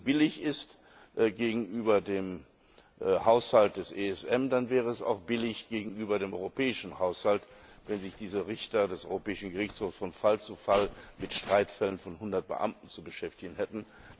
Wenn das so billig ist gegenüber dem Haushalt des ESM, dann wäre es auch billig gegenüber dem europäischen Haushalt, wenn sich diese Richter des Europäischen Gerichtshofs von Fall zu Fall mit Streitfällen von hundert Beamten zu beschäftigen hätten.